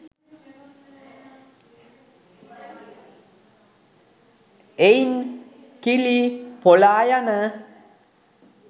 එයින් කිලි පොලායන